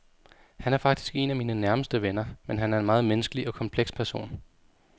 Han er faktisk en af mine nærmeste venner, men han er en meget menneskelig og kompleks person.